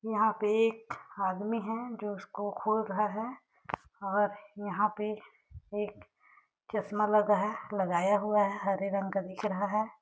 यहाँ पे एक आदमी है जो इसको खोल रहा है और यहाँ पे एक चश्मा लगा है लगाया हुआ है हरे रंग का दिख रहा हैं ।